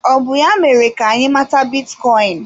Ọ bụ ya mere ka anyị mata bitcoin?